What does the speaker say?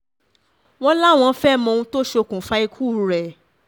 wọ́n láwọn fẹ́ẹ́ mọ ohun tó ṣokùnfà ikú rẹ̀